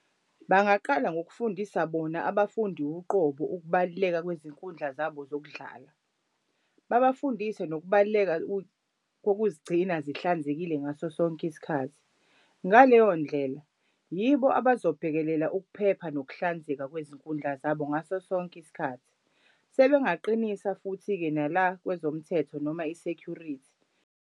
Bangaqala ngokufundisa bona abafundi uqobo ukubaluleka kwizinkundla zabo zokudlala. Babafundise nokubaluleka kokuzigcina zihlanzekile ngaso sonke isikhathi. Ngaleyo ndlela yibo abazobhekelela ukuphepha nokuhlanzeka kwizinkundla zabo ngaso sonke isikhathi. Sebengaqinisa futhi-ke nala kwezomthetho noma i-security.